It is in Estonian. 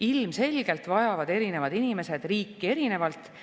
Ilmselgelt vajavad erinevad inimesed riiki erinevalt.